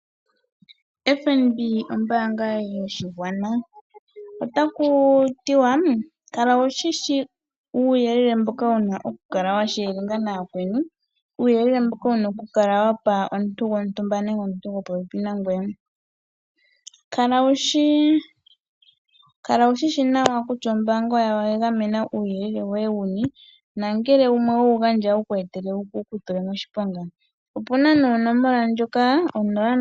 FNB ombaanga yoshigwana. Otaku tiwa kutya kala wu shi shi uuyelele mboka wu na okukala wa topolelathana nayakweni, uuyelele mboka wu na okukala wa pa omuntu gontumba nenge omuntu gopopepi nangoye. Kala wu shi shi nawa kutya ombaanga oya gamena uuyelele woye wu ni nongele owe wu gandja otawu ku etele wu ku tule moshiponga. Opu na nduno onomola ndjoka 06 2992222.